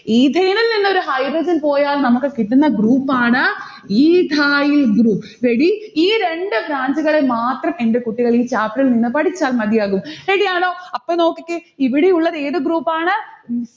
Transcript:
ethane ൽ നിന്നൊരു hydrogen പോയാൽ നമ്മുക്കു കിട്ടുന്ന group ആണ് ethyl group. ready ഈ രണ്ട് branch ഉകളെ മാത്രം എന്റെ കുട്ടികൾ ഈ chapter ഇൽനിന്ന് പഠിച്ചാൽ മതിയാകും. ready യാണോ? അപ്പൊ നോക്കിക്കേ ഇവിടെയുള്ളതേത് group ആണ്?